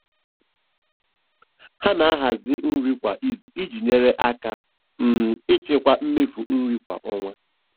Ha na-ahazi nri kwa izu iji nyere aka um ịchịkwa mmefu nri kwa ọnwa.